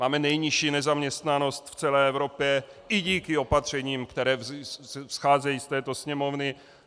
Máme nejnižší nezaměstnanost v celé Evropě i díky opatřením, která vzcházejí z této Sněmovny.